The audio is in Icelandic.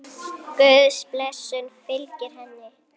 Guðs blessun fylgi henni.